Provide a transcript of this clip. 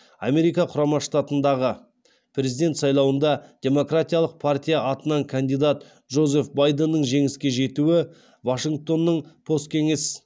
америка құрама штатындағы президент сайлауында демократиялық партия атынан кандидат джозеф байденнің жеңіске жетуі вашингтонның посткеңес